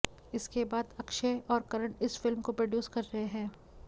इसके बाद अक्षय और करण इस फिल्म को प्रोड्यूस कर रहे हैं